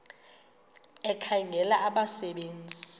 ekhangela abasebe nzi